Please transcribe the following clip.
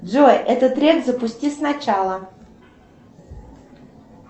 джой этот трек запусти сначала